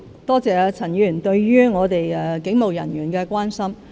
多謝陳議員對警務人員的關心。